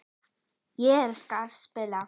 Ég elska að spila.